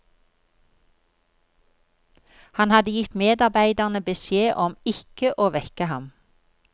Han hadde gitt medarbeiderne beskjed om ikke å vekke ham.